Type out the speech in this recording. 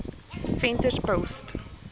venterspost